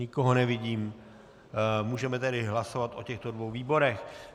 Nikoho nevidím, můžeme tedy hlasovat o těchto dvou výborech.